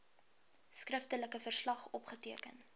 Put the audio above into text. skriftelike verslag opgeteken